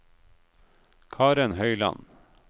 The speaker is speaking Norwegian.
Karen Høiland